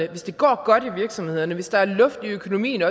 at hvis det går godt i virksomhederne hvis der også er luft i økonomien